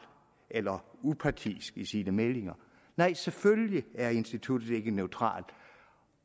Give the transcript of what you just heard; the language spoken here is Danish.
eller upartisk i sine meldinger nej selvfølgelig er instituttet ikke neutralt